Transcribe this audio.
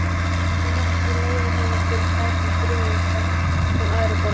Ég hélt ég leigði honum fyrir tæpan þriðjung þess, sem aðrir borga.